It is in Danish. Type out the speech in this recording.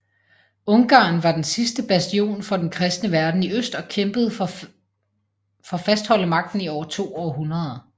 Ungarn var den sidste bastion for den kristne verden i øst og kæmpede for fastholde magten i over to århundreder